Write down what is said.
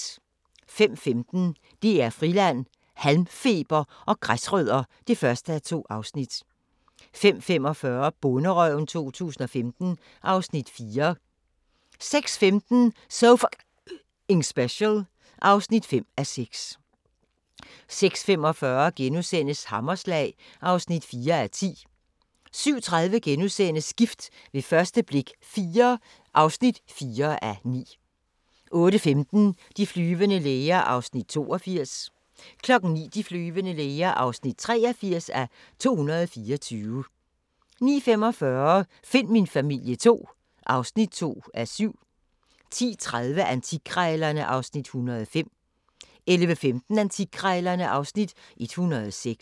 05:15: DR Friland: Halmfeber og græsrødder (1:2) 05:45: Bonderøven 2015 (Afs. 4) 06:15: So F***ing Special (5:6) 06:45: Hammerslag (4:10)* 07:30: Gift ved første blik – IV (4:9)* 08:15: De flyvende læger (82:224) 09:00: De flyvende læger (83:224) 09:45: Find min familie II (2:7) 10:30: Antikkrejlerne (Afs. 105) 11:15: Antikkrejlerne (Afs. 106)